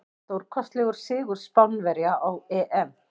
Stórkostlegur sigur Spánverja á EM.